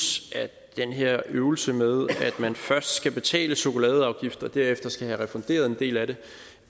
at den her øvelse med at man først skal betale chokoladeafgift og derefter skal have refunderet en del af det